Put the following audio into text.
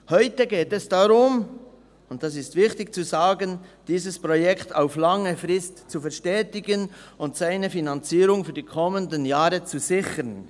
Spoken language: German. Heute geht es darum – und es ist wichtig dies zu sagen –, dieses Projekt auf lange Sicht zu verstetigen und seine Finanzierung in den kommenden Jahren zu sichern.